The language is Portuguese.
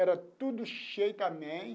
Era tudo cheio também.